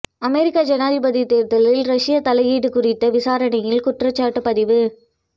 அமெரிக்க ஜனாதிபதி தேர்தலில் ரஷிய தலையீடு குறித்த விசாரணையில் குற்றச்சாட்டு பதிவு